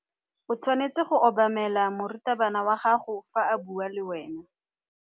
O tshwanetse go obamela morutabana wa gago fa a bua le wena.